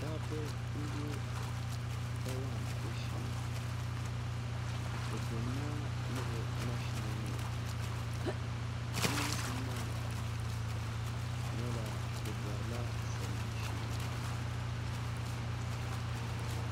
Dabba n bɛ bayaɣati shee bi biɛni maa ni bi mashina nima bi niŋsim maa nyɛla bi borila salima shee